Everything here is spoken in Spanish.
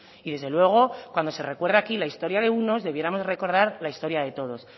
y desde luego cuando se recuerda aquí la historia de unos debiéramos recordar la historia de todos